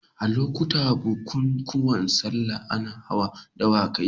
A lokutan bukunkuna sallah ana hawa dawakai.